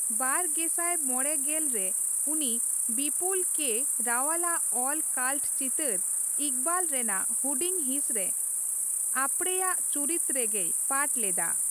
ᱵᱟᱨ ᱜᱮᱥᱟᱭ ᱢᱚᱲᱮ ᱥᱞ ᱨᱮ ᱩᱱᱤ ᱵᱤᱯᱩᱞ ᱠᱮ ᱨᱟᱣᱟᱞᱟᱜ ᱚᱞ ᱠᱟᱞᱴ ᱪᱤᱛᱟᱹᱨ 'ᱤᱠᱵᱟᱞ' ᱨᱮᱱᱟᱜ ᱦᱩᱰᱤᱧ ᱦᱤᱸᱥ ᱨᱮ ᱟᱯᱲᱮᱭᱟᱜ ᱪᱩᱨᱤᱛ ᱨᱮᱜᱮᱭ ᱯᱟᱴᱷ ᱞᱮᱫᱟ ᱾